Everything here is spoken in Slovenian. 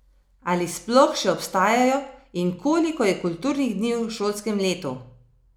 Ali sploh še obstajajo in koliko je kulturnih dni v šolskem letu?